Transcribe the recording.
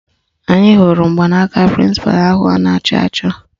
Anyị hụrụ mgbanaka prịnsịpalụ ahụ a na-achọ achọ